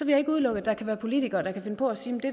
jeg ikke udelukke at der kan være politikere der kan finde på at sige